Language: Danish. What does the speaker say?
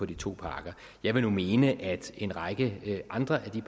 de to parker jeg vil nu mene at en række af de andre